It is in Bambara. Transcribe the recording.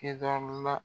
Kedɔ la